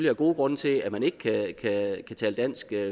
er gode grunde til at man ikke kan tale dansk